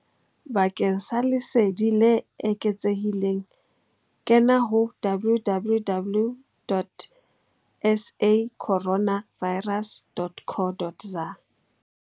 Bakeng sa lesedi le eketsehileng kena ho www.sacorona virus.co.za.